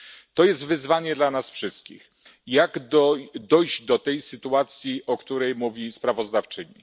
To jest wyzwanie dla nas wszystkich, jak dojść do tej sytuacji, o której mówi sprawozdawczyni?